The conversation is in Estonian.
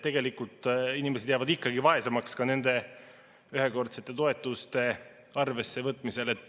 Tegelikult inimesed jäävad ikkagi vaesemaks ka nende ühekordsete toetuste arvessevõtmisel.